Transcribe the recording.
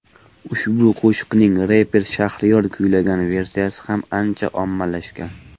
Ushbu qo‘shiqning reper Shahriyor kuylagan versiyasi ham ancha ommalashgan .